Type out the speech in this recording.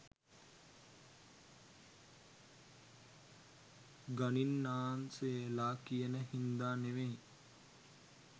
ගණින්නාන්සේලා කියන හින්දා නෙවෙයි.